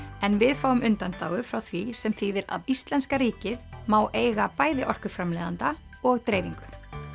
en við fáum undanþágu frá því sem þýðir að íslenska ríkið má eiga bæði orkuframleiðanda og dreifingu